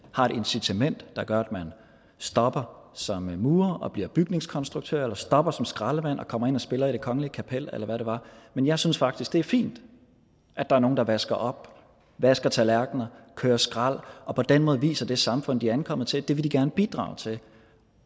incitament der gør at man stopper som murer og bliver bygningskonstruktør eller stopper som skraldemand og kommer ind og spiller i det kongelige kapel eller hvad det var men jeg synes faktisk det er fint at der er nogle der vasker op vasker tallerkener kører skrald og på den måde viser at det samfund de er ankommet til vil de gerne bidrage til